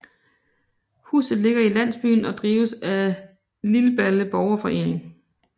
Huset ligger i landsbyen og drives af Lilballe Borgerforening